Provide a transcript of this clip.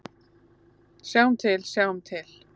Sjáum til, sjáum til.